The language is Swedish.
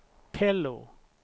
Pello